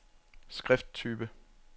skrifttype